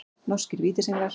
Norskir Vítisenglar.